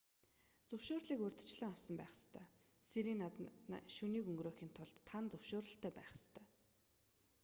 зөвшөөрлийг урьдчилан авсан байх ёстой сиренад шөнийг өнгөрөөхийн тулд тан зөвшөөрөлтэй байх ёстой